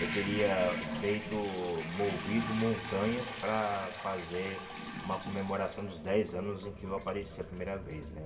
Eu teria feito, movido montanhas para fazer uma comemoração dos dez anos em que eu apareci a primeira vez, né?